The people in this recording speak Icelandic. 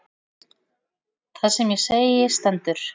Það sem ég segi stendur.